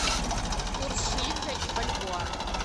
курс шиллинга и бальбоа